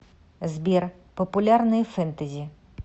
сбер популярные фентези